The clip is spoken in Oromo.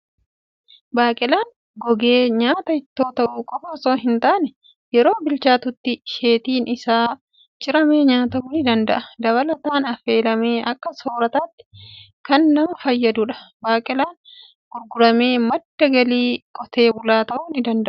Baaqelaan gogee nyaata ittoo ta'uu qofaa osoo hin taane, yeroo bilchaatutti asheetiin isaa ciramee nyaatamuu ni danda'a. Dabalataan, affeelamee akka soorataatti kan nama fayyadudha. Baaqelaan gurguramee madda galii qotee bulaa ta'uu ni danda'a.